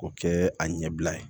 K'o kɛ a ɲɛbila ye